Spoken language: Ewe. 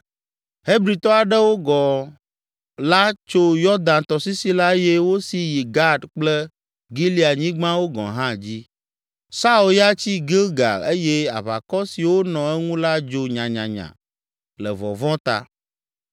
Hebritɔ aɖewo gɔ̃ la tso Yɔdan tɔsisi la eye wosi yi Gad kple Gileadnyigbawo gɔ̃ hã dzi. Saul ya tsi Gilgal eye aʋakɔ siwo nɔ eŋu la dzo nyanyanya le vɔvɔ̃ ta.